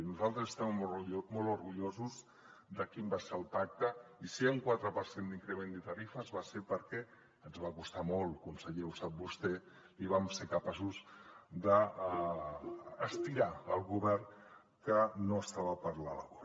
nosaltres estem molt orgullosos de quin va ser el pacte i si hi ha un quatre per cent d’increment de tarifes va ser perquè ens va costar molt conseller ho sap vostè i vam ser capaços d’estirar el govern que no estava per la labor